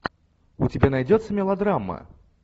у тебя найдется мелодрама